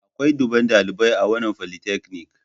Akwai dubban dalibai a wannan folytechnic.